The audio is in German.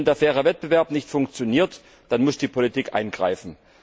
Wenn der faire Wettbewerb nicht funktioniert, dann muss die Politik eingreifen.